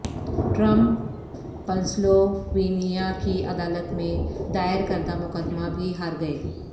Trump Pennsylvania کی عدالت میں دائر کردہ مقدمہ بھی ہار گئے